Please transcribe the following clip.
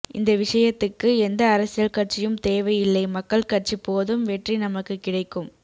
இந்த விஷயத்துக்கு எந்த அரசியல் கட்சியும் தேவை இல்லை மக்கள் கட்சி போதும் வெற்றி நமக்கு கிடைக்கும்